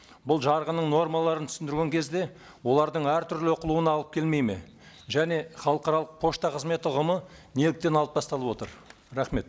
бұл жарғының нормаларын түсіндірген кезде олардың әртүрлі оқылуына алып келмейді ме және халықаралық пошта қызметі ұғымы неліктен алып тасталып отыр рахмет